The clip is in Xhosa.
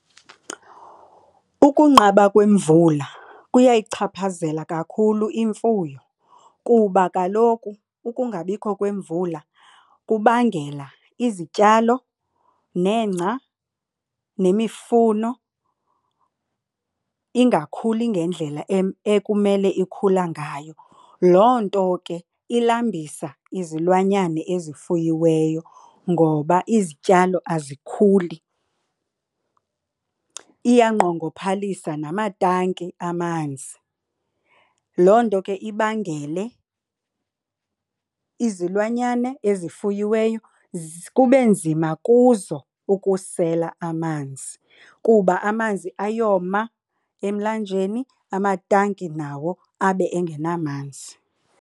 Ukunqaba kwemvula kuyayichaphazela kakhulu imfuyo kuba kaloku ukungabikho kwemvula kubangela izityalo nengca nemifuno ingakhuli ngendlela ekumele ikhula ngayo. Loo nto ke ilambisa izilwanyane ezifuyiweyo ngoba izityalo azikhuli. Iyangqongophalisa namatangi amanzi. Loo nto ke ibangele izilwanyane ezifuyiweyo kube nzima kuzo ukusela amanzi kuba amanzi ayoma emlanjeni amatanki nawo abe engenamanzi.